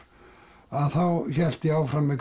þá hélt ég áfram með